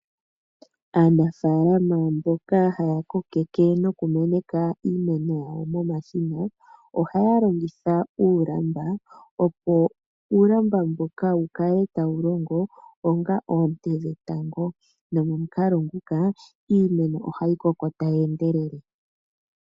Aanafaalama mboka haya kokeke nokumeneka iimeno yawo nomashina, ohaya longitha uulamba opo uulamba mbuka wu kale tawu longo onga oonte dhetango nomomukalo nguka iimeno ohayi koko tayi endelele.